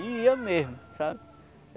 E ia mesmo, sabe?